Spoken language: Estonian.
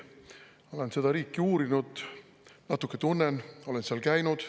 Olen seda riiki uurinud, natuke tunnen, olen seal käinud.